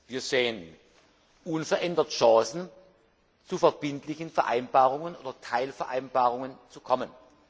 Wir sehen unverändert Chancen, zu verbindlichen Vereinbarungen oder Teilvereinbarungen zu kommen.